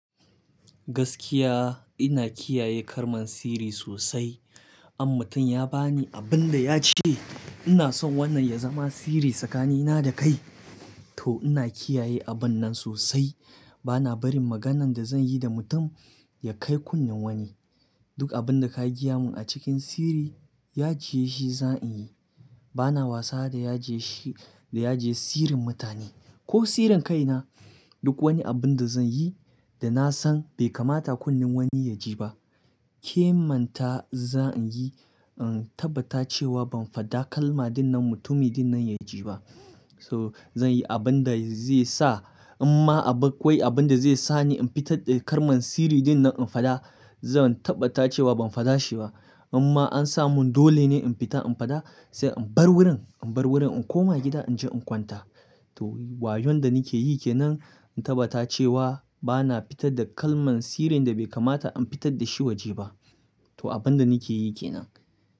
Gaskiya ina kiyaye kalman sirri sosai. Amma tun ya ba ni abin da ya ce, ina son wannan ya zama sirri tsakanina da kai. To ina kiyaye abun nan sosai. Bana barin maganan da zan yi da mutum ya kai kunnen wani. Duk abin da ka giya mun a cikin sirri, ya jiye shi za in yi. Bana wasa da yaje shi, da yaje sirrin mutane ko sirrin kaina. Duk wani abun da zan yi da na san bai kamata kunnen wani ya ji ba, ƙemanta za in yi in tabbata cewa ban faɗa kalma dinnan, mutumi dinnan ya ji ba. So zan yi abun da zai sa, imma abin akwai abun da zai sa ni in fitar da karman sirri dinnan in faɗa, zan tabbata cewa ban faɗa shi ba. Imma an samu dole ne in fita in faɗa, sai in bar wurin, in bar wurin in koma gida in je in kwanta. To wayon da nake yi ke nan, in tabbata cewa bana fitar da kalman sirrin da bai kamata an fitar da shi waje ba. To abun da nake yi ke nan.